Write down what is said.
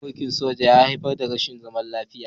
Juyin mulkin soja ya haifar da rashin zaman lafiya